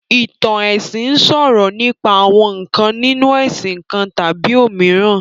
Ìtàn ẹ̀sìn sọ̀rọ̀ nípa àwọn ǹkan nínu ẹ̀sìn kan tàbí òmíràn